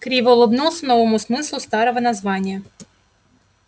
криво улыбнулся новому смыслу старого названия